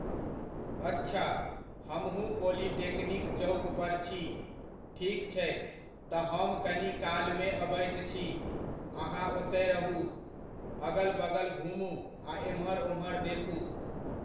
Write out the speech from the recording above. अच्छा, हमहुँ पोलिटेक्निक चौक पर छी। ठीक छै, तऽ हम कनि कालमे अबैत छी, अहाँ ओतय रहु, अगल बगल घुमू आ एम्हर ओम्हर देखु।